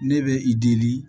Ne bɛ i dili